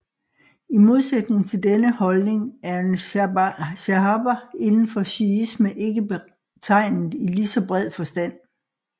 I modsætning til denne holdning er en shahaba indenfor shiisme ikke betegnet i ligeså bred forstand